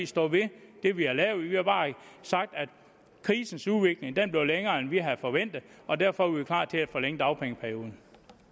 står ved det vi har lavet vi har bare sagt at krisens udvikling blev længere end vi havde forventet og derfor er vi klar til at forlænge dagpengeperioden